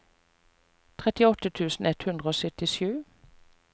trettiåtte tusen ett hundre og syttisju